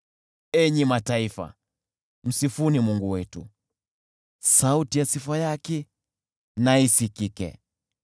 Enyi mataifa, msifuni Mungu wetu, sauti ya sifa yake isikike,